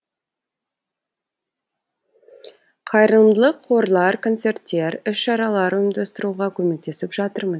қайырымдылық қорлар концерттер іс шаралар ұйымдастыруға көмектесіп жатырмын